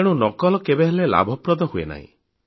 ତେଣୁ ନକଲ କେବେହେଲେ ଲାଭପ୍ରଦ ହୁଏ ନାହିଁ